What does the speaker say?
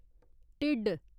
ढिड्ड